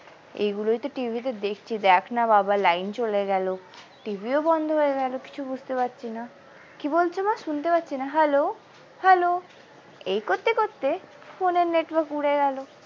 এই গুলোই তো টিভিতে দেখছি দেখনা বাবা লাইন চলে গেল টিভিও বন্ধ হয়ে গেল কিছু বুঝতে পারছি না কি বলছো মা শুনতে পাচ্ছি না hello hello এই করতে করতে phone এর network উড়ে গেল।